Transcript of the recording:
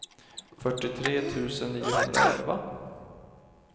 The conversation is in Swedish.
fyrtiotre tusen niohundraelva